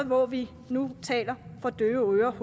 hvor vi nu taler for døve øren